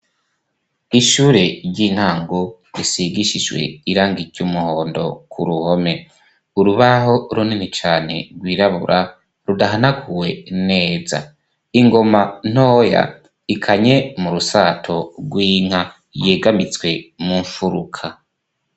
Ishure ry'intango risigishishwe irangityo umuhondo ku ruhome urubaho ronini cane rwirabura rudahanaguwe neza ingoma ntoya ikanye mu rusato rw'inka yegamitswe mu mfuruka.